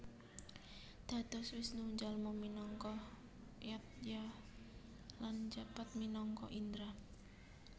Dados Wisnu njalma minangka Yadnya lan njabat minangka Indra